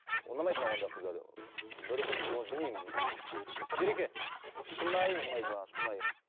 ұнамайды маған ондай қыздар бір күн оны білмеймін ереке шынайы ұнайды маған шынайы